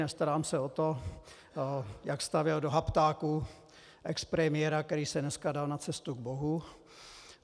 Nestarám se o to, jak stavěl do haptáku expremiéra, který se dneska dal na cestu k Bohu.